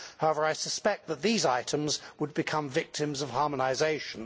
However, I suspect that those items would become victims of harmonisation.